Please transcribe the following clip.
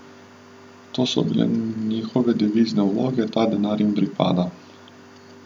To so bile njihove devizne vloge, ta denar jim pripada.